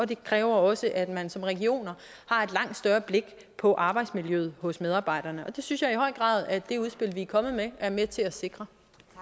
det kræver også at man som region har et langt større blik på arbejdsmiljøet hos medarbejderne og det synes jeg i høj grad at det udspil vi er kommet med er med til at sikre